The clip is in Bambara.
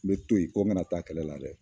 N bɛ to yen, ko n kana taa kɛlɛ la dɛ